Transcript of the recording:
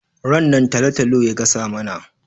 Rannan talo-talo ya gasa mana.